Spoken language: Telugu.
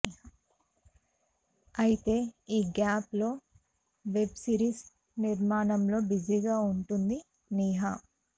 అయితే ఈ గ్యాప్ లో వెబ్ సిరీస్ నిర్మాణంలో బిజీగా వుటుంది నిహా